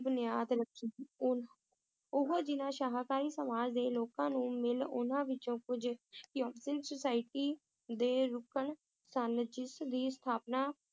ਬੁਨਿਆਦ ਰੱਖੀ, ਉਨ~ ਉਹ ਜਿਨ੍ਹਾਂ ਸ਼ਾਕਾਹਾਰੀ ਸਮਾਜ ਦੇ ਲੋਕਾਂ ਨੂੰ ਮਿਲੇ ਉਨ੍ਹਾਂ ਵਿੱਚੋਂ ਕੁਛ society ਦੇ ਰੁਕਨ ਸਨ ਜਿਸ ਦੀ ਸਥਾਪਨਾ